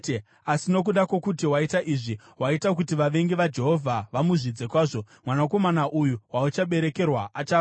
Asi nokuda kwokuti waita izvi, waita kuti vavengi vaJehovha vamuzvidze kwazvo, mwanakomana uyu wauchaberekerwa achafa.”